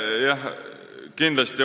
Jah, kindlasti.